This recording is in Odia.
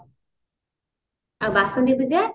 ଆଉ ବାସନ୍ତୀ ପୂଜା